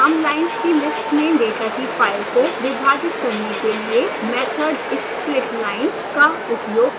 हम लाइन्स की लिस्ट में डेटा की फाइल को विभाजित करने के लिए method splitlines का उपयोग करेंगे